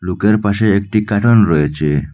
লোকের পাশে একটি কার্টন রয়েছে।